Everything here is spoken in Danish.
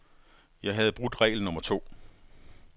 Jeg havde brudt regel nummer to.